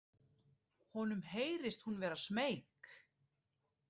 Honum heyrist hún vera smeyk.